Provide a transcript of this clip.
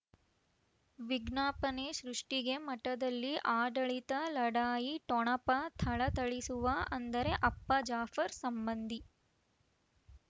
ವಿಜ್ಞಾಪನೆ ಸೃಷ್ಟಿಗೆ ಮಠದಲ್ಲಿ ಆಡಳಿತ ಲಢಾಯಿ ಠೊಣಪ ಥಳಥಳಿಸುವ ಅಂದರೆ ಅಪ್ಪ ಜಾಫರ್ ಸಂಬಂಧಿ